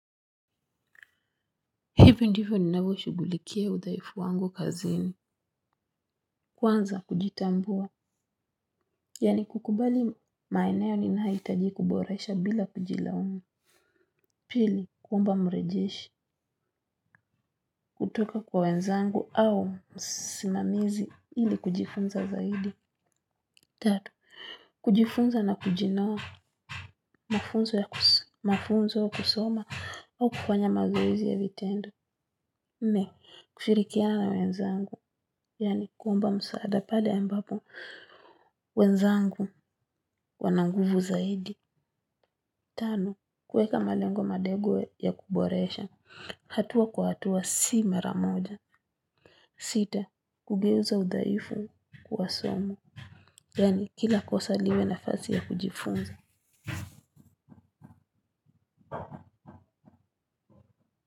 Hivi ndivyo ninavyo shugulikia udhaifu wangu kazini. Kwanza kujitambua yani kukubali maeneo ninayo itaji kuboresha bila kujilaumu. Pili, kuomba mrejishi. Kutoka kwa wenzangu au simamizi ili kujifunza zaidi. Tato, kujifunza na kujinawa. Mafunzo ya kusoma au kufanya mazoezi ya vitendo. Ne, kushirikiana na wenzangu. Yani kuomba msaada pale ambapo. Wenzangu wananguvu zaidi. Tano, kueka malengo madego ya kuboresha. Hatua kwa hatua si maramoja. Sita, kugeuza udhaifu kuwasomo. Yani kila kosa liwe nafasi ya kujifunza.